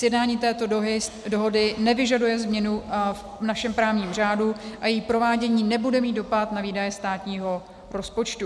Sjednání této dohody nevyžaduje změnu v našem právním řádu a její provádění nebude mít dopad na výdaje státního rozpočtu.